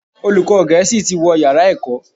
Olùkọ́ gẹ̀ẹ́sì tí wó yàrá ẹ̀kọ́